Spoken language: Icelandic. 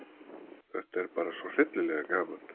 Þetta er bara svo hryllilega gaman